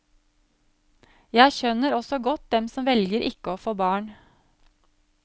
Jeg skjønner også godt dem som velger ikke å få barn.